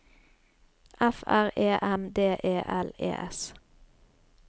F R E M D E L E S